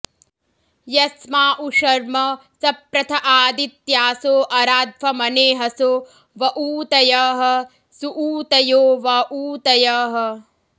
यस्मा॑ उ॒ शर्म॑ स॒प्रथ॒ आदि॑त्यासो॒ अरा॑ध्वमने॒हसो॑ व ऊ॒तयः॑ सुऊ॒तयो॑ व ऊ॒तयः॑